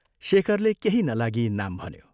शेखरले केही नलागी नाम भन्यो।